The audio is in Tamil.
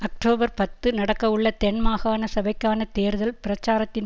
அக்டோபர் பத்து நடக்கவுள்ள தென் மாகாண சபைக்கான தேர்தல் பிரச்சாரத்தின்